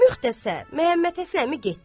Müxtəsər, Məmmədhəsən əmi getdi.